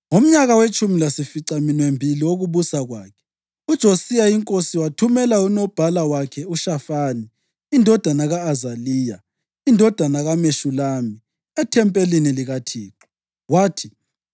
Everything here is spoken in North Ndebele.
Ngomnyaka wetshumi lasificaminwembili wokubusa kwakhe, uJosiya inkosi wathumela unobhala wakhe, uShafani indodana ka-Azaliya, indodana kaMeshulami, ethempelini likaThixo. Wathi,